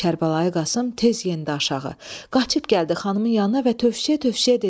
Kərbəlayi Qasım tez endi aşağı, qaçıb gəldi xanımın yanına və tövşüyə-tövşüyə dedi: